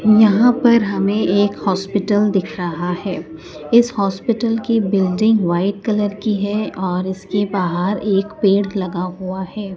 यहां पर हमें एक हॉस्पिटल दिख रहा है इस हॉस्पिटल की बिल्डिंग व्हाइट कलर की है और इसके बाहर एक पेड़ लगा हुआ है।